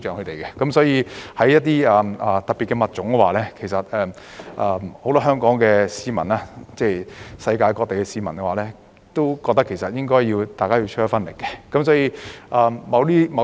對於保護一些特別的物種，很多香港市民和世界各地的市民都認為應該要出一分力。